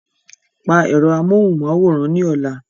Pa ẹ̀rọ amóhùnmáwòrán ní ọ̀la.